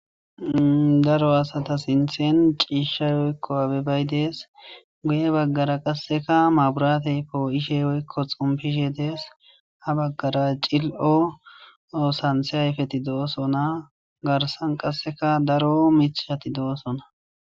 daro asata sinthen ciishshay woykko aabebay dees goye baggara qasseka maburateypoo ishe woykko xompishe dees ha baggara cil7o oosanthe hayfeti do7osona garsan qasseka daro michhati doosona